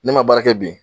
Ne ma baara kɛ bi